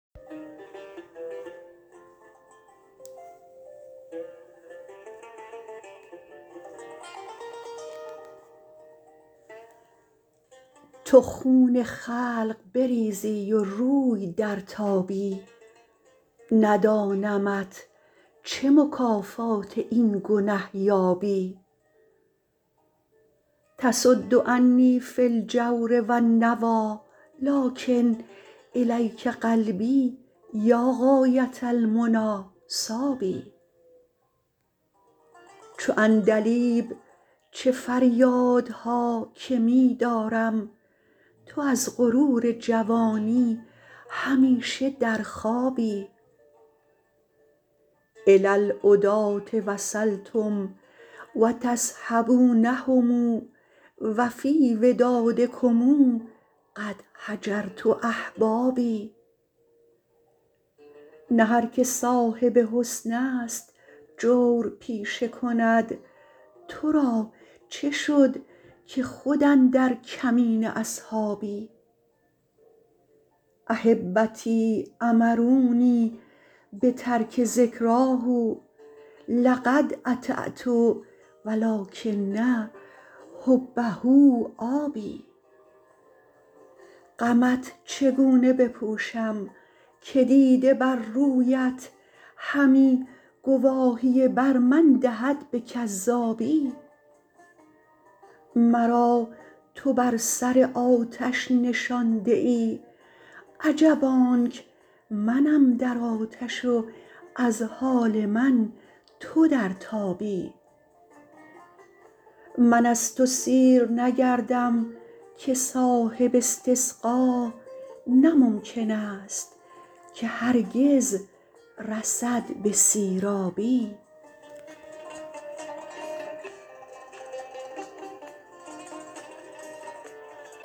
تو خون خلق بریزی و روی درتابی ندانمت چه مکافات این گنه یابی تصد عنی فی الجور و النویٰ لٰکن إلیک قلبی یا غایة المنیٰ صاب چو عندلیب چه فریادها که می دارم تو از غرور جوانی همیشه در خوابی إلی العداة وصلتم و تصحبونهم و فی ودادکم قد هجرت أحبابی نه هر که صاحب حسن است جور پیشه کند تو را چه شد که خود اندر کمین اصحابی أحبتی أمرونی بترک ذکراه لقد أطعت و لٰکن حبه آب غمت چگونه بپوشم که دیده بر رویت همی گواهی بر من دهد به کذابی مرا تو بر سر آتش نشانده ای عجب آنک منم در آتش و از حال من تو در تابی من از تو سیر نگردم که صاحب استسقا نه ممکن است که هرگز رسد به سیرابی